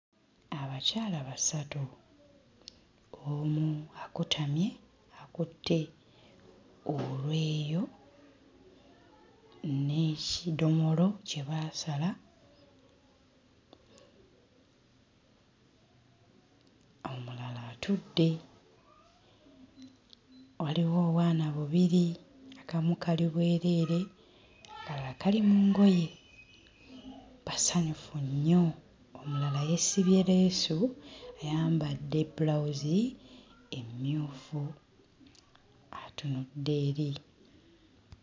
Abakyala basatu omu akutamye akutte olweyo n'ekidomolo kye baasala, omulala atudde. Waliwo obwana bubiri akamu kali bwereere, akalala kali mu ngoye. Basanyufu nnyo omulala yeesibye leesu ayambadde bbulawuzi emmyufu atunudde eri.